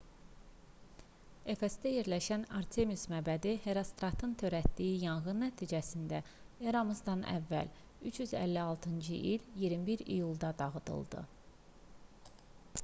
efesdə yerləşən artemis məbədi herostratın törətdiyi yanğın nəticəsində eramızdan əvvəl 356-cı il 21 iyulda dağıdıldı